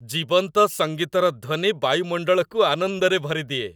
ଜୀବନ୍ତ ସଙ୍ଗୀତର ଧ୍ୱନି ବାୟୁମଣ୍ଡଳକୁ ଆନନ୍ଦରେ ଭରିଦିଏ।